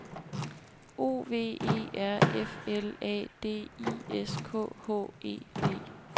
O V E R F L A D I S K H E D